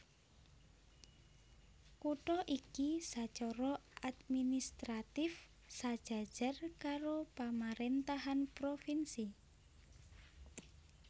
Kutha iki sacara administratif sajajar karo pamaréntahan provinsi